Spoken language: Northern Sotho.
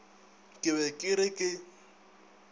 ke be ke re ke